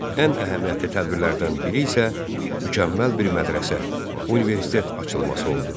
Ən əhəmiyyətli tədbirlərdən biri isə mükəmməl bir mədrəsə, universitet açılması oldu.